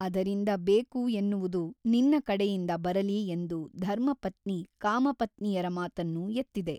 ಅದರಿಂದ ಬೇಕು ಎನ್ನುವುದು ನಿನ್ನ ಕಡೆಯಿಂದ ಬರಲಿ ಎಂದು ಧರ್ಮಪತ್ನಿ ಕಾಮಪತ್ನಿಯರ ಮಾತನ್ನು ಎತ್ತಿದೆ.